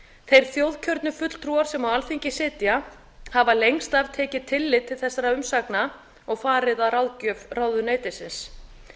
þeir þjóðkjörnu fulltrúar sem á alþingi sitja hafa lengst af tekið tillit til þessara umsagna og farið að ráðgjöf ráðuneytisins